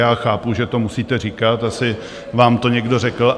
Já chápu, že to musíte říkat, asi vám to někdo řekl.